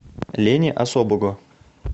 лени особого